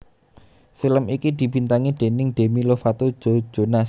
Film iki dibintangi déning Demi Lovato Joe Jonas